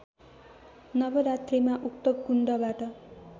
नवरात्रीमा उक्त कुण्डबाट